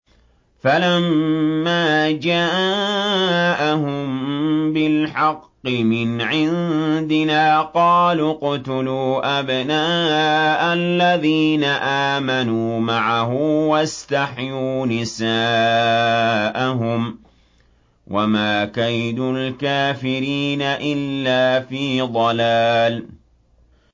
فَلَمَّا جَاءَهُم بِالْحَقِّ مِنْ عِندِنَا قَالُوا اقْتُلُوا أَبْنَاءَ الَّذِينَ آمَنُوا مَعَهُ وَاسْتَحْيُوا نِسَاءَهُمْ ۚ وَمَا كَيْدُ الْكَافِرِينَ إِلَّا فِي ضَلَالٍ